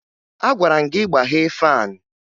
Agwara m gị gbaghee faanị!